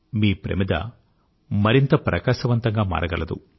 మీ ప్రమిద మరింత ప్రకాశవంతంగా మారగలదు